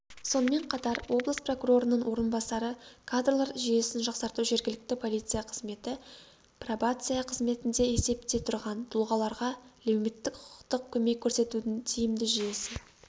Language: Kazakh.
сонымен қатар облыс прокурорының орынбасары кадрлар жүйесін жақсарту жергілікті полиция қызметі пробация қызметінде есепте тұрған тұлғаларға леуметтік-құқықтық көмек көрсетудің тиімді жүйесі